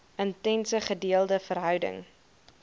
intense gedeelde verhouding